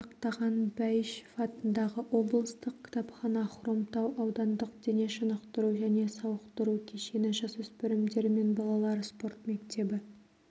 сақтаған бәйішев атындағы облыстық кітапхана хромтау аудандық дене шынықтыру және сауықтыру кешені жасөспірімдер мен балалар спорт мектебі